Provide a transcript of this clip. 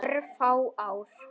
Örfá ár.